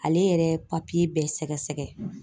Ale yɛrɛ ye papiye bɛɛ sɛgɛsɛgɛ.